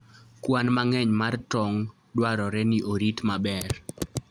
Kwan mang'eny mar tong' dwarore ni orit maber.